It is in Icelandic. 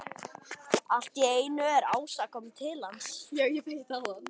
Allt í einu er Ása komin til hans.